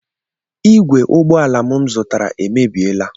Igwe ụgbọ ala m zụtara emebiela